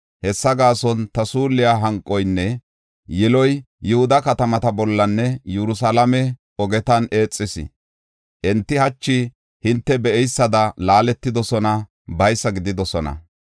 Hessa gaason ta suulliya hanqoynne yiloy Yihuda katamata bollanne Yerusalaame ogetan eexis. Enti hachi hinte be7eysada laaletidosona; baysa gididosona.